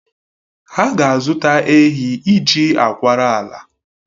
Ha ga-azụta ehi iji akwara ala